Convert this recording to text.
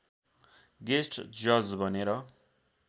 guest जज बनेर